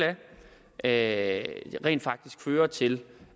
af rent faktisk fører til